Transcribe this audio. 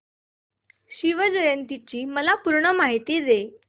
शिवजयंती ची मला पूर्ण माहिती दे